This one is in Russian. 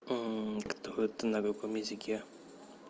кто это на каком языке